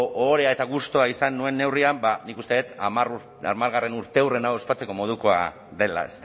ohorea eta gustua izan nuen neurrian ba nik uste dut hamargarrena urteurrena ospatzeko modukoa dela